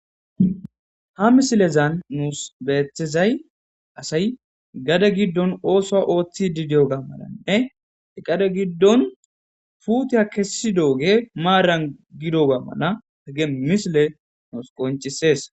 Ha misilezan nuus beetizay asay gade gidon oothuwa oothidi diyoga malanne gade gidon puutiya kessidogey maaran gidoga mala ha misley nus qonccises.